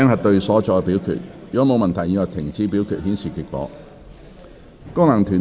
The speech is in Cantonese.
如果沒有問題，現在停止表決，顯示結果。